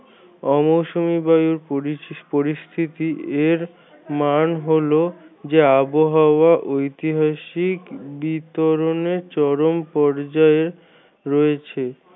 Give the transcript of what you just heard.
অমৌসুমি বায়ুর পরিস্থিতি এর মান হল যা আবহাওয়া ঐতিহাসিক বিতরণে চরম পর্যায়ে রয়েছে।